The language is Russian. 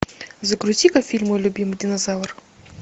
загрузи ка фильм мой любимый динозавр